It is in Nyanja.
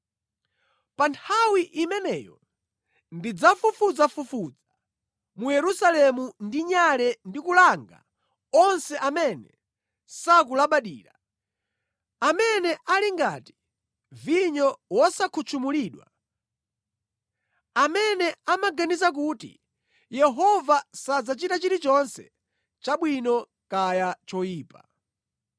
Pa nthawi imeneyo ndidzafufuzafufuza mu Yerusalemu ndi nyale ndi kulanga onse amene sakulabadira, amene ali ngati vinyo wosakhutchumulidwa, amene amaganiza kuti, ‘Yehova sadzachita chilichonse, chabwino kaya choyipa.’